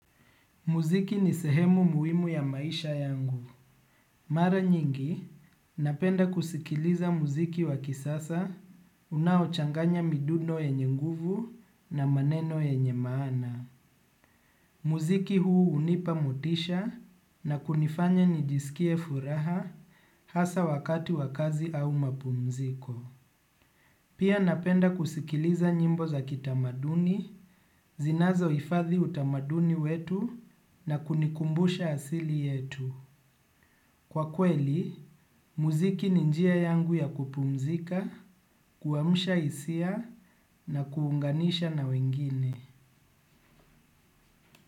Muziki ni sehemu muhimu ya maisha yangu. Mara nyingi, napenda kusikiliza muziki wa kisasa, unaochanganya midundo yenye nguvu na maneno yenye maana. Muziki huu hunipa motisha na kunifanya nijisikie furaha hasa wakati wa kazi au mapumziko. Pia napenda kusikiliza nyimbo za kitamaduni, zinazohifadhi utamaduni wetu na kunikumbusha asili yetu. Kwa kweli, muziki ni njia yangu ya kupumzika, kuamsha hisia na kuunganisha na wengine.